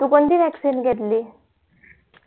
तू कोणती vaccine घेतली